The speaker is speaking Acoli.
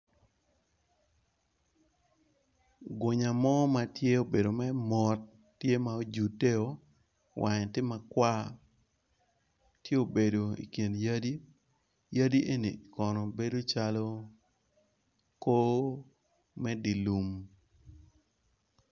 Gumya mo ma tye obedo mere mot, tye ma ojudeo, wange tye ma kwar ti obedo i kin yadi, yadi eni kono bedo calo ko me di lum.